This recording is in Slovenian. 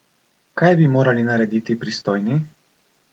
Kaj bi morali narediti pristojni?